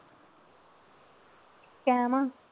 ਕੈਮ ਆਂ।